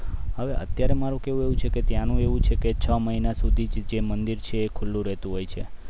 હવે અત્યારે મારું કેવું એવું છે કે તેનું એવું છે કે છ મહિના સુધી જ એ મંદિર છે ખુલ્લુ રહેતું હોય છે